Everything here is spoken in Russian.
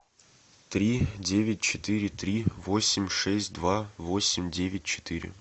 три девять четыре три восемь шесть два восемь девять четыре